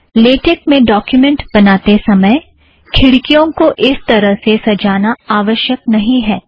LaTeX में document बनाते समय खिड़कियों को इस तरह से सजाना आवश्यक नहीं है